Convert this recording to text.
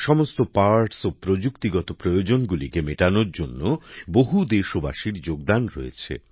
সমস্ত অংশ ও প্রযুক্তিগত চাহিদাগুলিকে মেটানোর জন্য বহু দেশবাসীর এখানে ভূমিকা রয়েছে